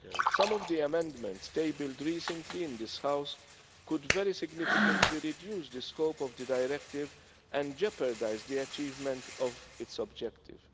Some of the amendments tabled recently in this House could very significantly reduce the scope of the directive and jeopardise the achievement of its objective.